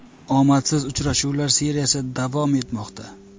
Omadsiz uchrashuvlar seriyasi davom etmoqda.